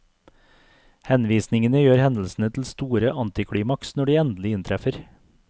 Henvisningene gjør hendelsene til store antiklimaks når de endelig inntreffer.